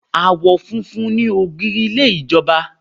Àwọn funfun ni ògiri ilé ìjọba.